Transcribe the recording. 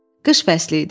Qış fəsli idi.